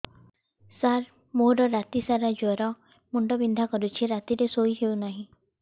ସାର ମୋର ରାତି ସାରା ଜ୍ଵର ମୁଣ୍ଡ ବିନ୍ଧା କରୁଛି ରାତିରେ ଶୋଇ ହେଉ ନାହିଁ